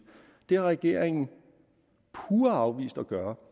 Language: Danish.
det har regeringen pure afvist at gøre